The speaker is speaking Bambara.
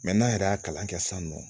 n'an yɛrɛ y'a kalan kɛ sisan nɔ